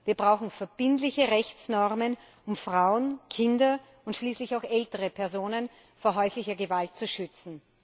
Wir brauchen verbindliche Rechtsnormen, um Frauen, Kinder und schließlich auch ältere Personen vor häuslicher Gewalt zu schützen!